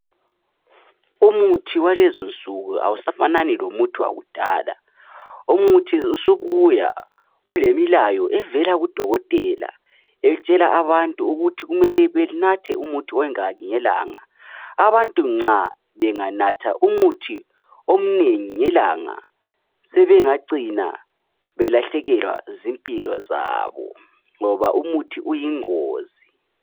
Umuthi walezinsuku awusafanani lowakudala umuthi usubuya ulemlayo evela kuDokotela etshela abantu ukuthi kumele benathe umuthi ongaki ngelanga ,abantu nxa benganatha umuthi omnengi ngelanga sebengacina belahlekelwa zimpilo zabo ngoba umuthi uyingozi